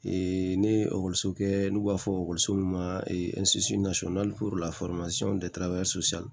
ne ye ekɔliso kɛ n'u b'a fɔ min ma